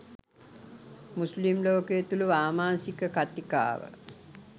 මුස්ලිම් ලෝකය තුල වාමාංශික කතිකාව